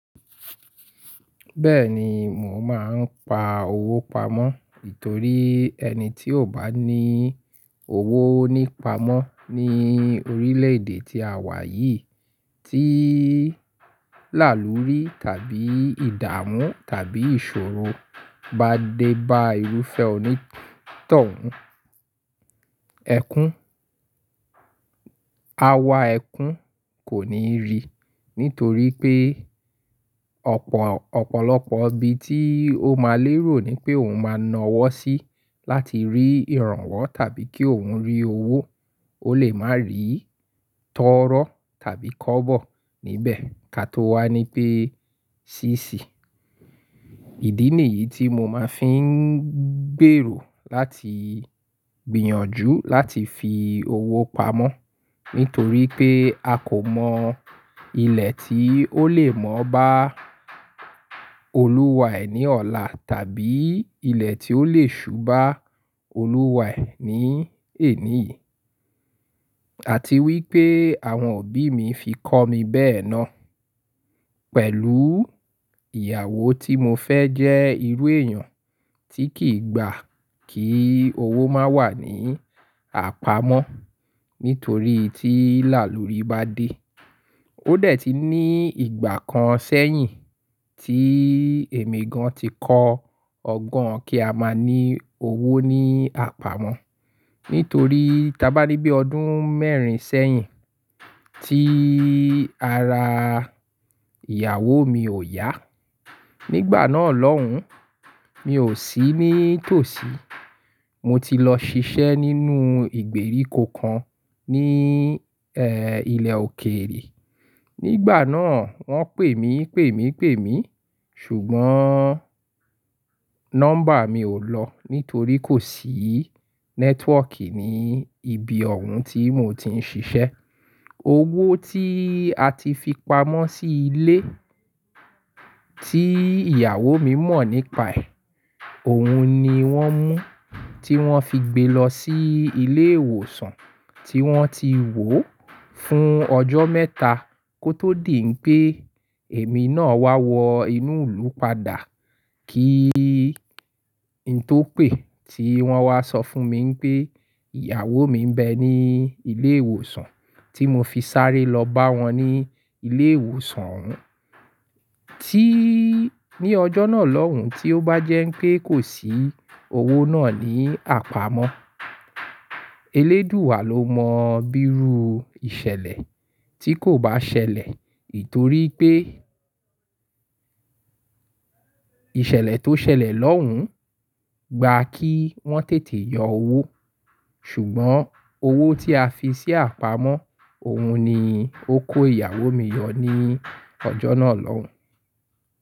Bẹ́ẹ̀ni, mò máa ń pa owó pamọ́ nítorí ẹni tí ò bá ní owó ní pamọ́ ní orílẹ̀ èdè tí àwa yìí tí làlùrí tàbí ìdààmú tàbí ìṣòro bá dé bá irúfẹ́ òní tọ̀ún. Ẹkún, awa ẹkún kò ní rìi nítorí pé ọ̀pọ̀lọpọ̀ ibi tí ó máa lérò ní pé òun máa na wọ́ sí láti rí ìrànwọ́ tàbí kí òun rí owó, ó lè má rí tọ́rọ́ tàbí kọ́bọ̀ níbẹ̀. Ká tó wà ní pé ṣi ṣi. Ìdí nìyí tí mo máa fi ń gbèrò láti gbìyànjú láti fi owó pamọ́. Nítorí pé a kò mọ ilẹ̀ tí ó lè mọ́ bá Olúwa ẹ̀ ní ọ̀la tàbí ilẹ̀ tí ó lè ṣubá Olúwa ẹ̀ ní èní yìí. Àti wípé àwọn òbí mi fi kọ́ mi bẹ́ẹ̀ náà pẹ̀lú ìyàwó tí mo fẹ́ jẹ́ irú èèyàn tí kì í gbà kí owó má wà ní àpamọ́. Nítorí tí lálùrí bá dé, ó dẹ̀ ti ní ìgbà kan sẹ́yìn tí èmi gan ti kọ ọgbọ́n kí a máa ní owó ní àpamọ́. Nítorí ta bá rí bí ọdún mẹ́rin sẹ́yìn tíí ara ìyàwó mi ò yá. Nígbà náà lọ́hùn, mi ò sí ní tòsí. Mo ti lọ ṣiṣẹ́ nínú ìgbèríko kan, níi, ẹ́, ilẹ̀ òkèèrè. Nígbà náà wọ́n pè mí, pè mí, pè mí ṣùgbọ́n nọ́mbà mi ò lọ nítorí kò sí nẹ́twọ́kì ní ibi ọ̀hún tí mò ti ń ṣiṣẹ́. Owó tí a ti fi pamọ́ sí ilé tí ìyàwó mi mọ̀ nípaẹ̀, òun ni wọ́n mú tí wọ́n fi gbé lọ sí ilé ìwòsàn tí wọ́n ti wò ó fún ọjọ́ mẹ́ta kó tó dì pé èmi náà wá wọ inú ìlú padà. Kí n tò pè tí wọ́n wá sọ fún mi pé ìyàwó mi ń bẹ ní ilé ìwòsàn tí mo fi sáré lọ bá wọn ní ilé ìwòsàn òun. Tíí ní ọjọ́ náà lọ́hùn, tí ó bá jẹ́ pé kò sí owó náà ní àpamọ́, eléèduwa ló mọ bíru ìṣẹ̀lẹ̀ tí kò bá ṣẹlẹ̀. Nítorí pé ìṣẹ̀lẹ̀ tó ṣẹlẹ̀ lọ́hùn gba kí wọ́n tètè yọ owó. Ṣùgbọ́n owó tí a fi sí àpamọ́, òun ni ó kó ìyàwó mi yọ ní ọjọ́ náà lọ́hùn.